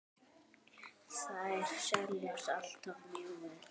Þær seljast alltaf mjög vel.